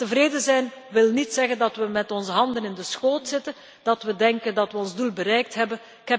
Maar tevreden zijn wil niet zeggen dat we met onze handen in de schoot zitten, dat we denken dat we ons doel bereikt hebben.